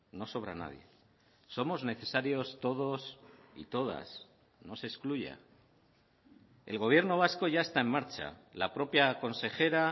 no sobra nadie somos necesarios todos y todas no se excluya el gobierno vasco ya está en marcha la propia consejera